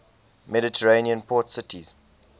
mediterranean port cities